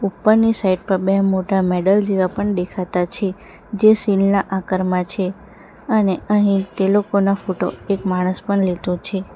ઉપરની સાઈડ પર બે મોટા મેડલ જેવા પણ દેખાતા છે જે શીલ્ડ ના આકારમાં છે અને અહીં ટે લોકોનો ફોટો એક માણસ પણ લેટો છે.